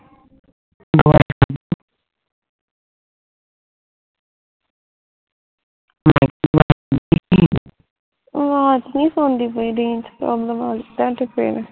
ਆਵਾਜ਼ ਨਹੀਂ ਸੁਣਦੀ ਪਈ range problem ਤੁਹਾਡੇ ਪਿਣ